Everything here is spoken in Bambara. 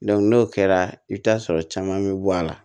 n'o kɛra i bɛ t'a sɔrɔ caman bɛ bɔ a la